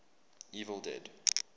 evil dead